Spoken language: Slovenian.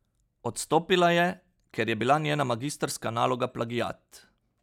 Odstopila je, ker je bila njena magistrska naloga plagiat.